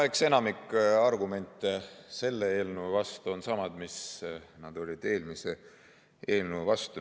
No eks enamik argumente selle eelnõu vastu on samad, mis nad olid eelmise eelnõu vastu.